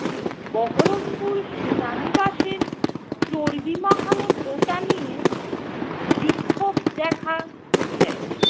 বহরমপুর সেনানিবাসের চর্বি-মাখানো টোটা নিয়ে বি~ বিক্ষোভ দেখা দেয়।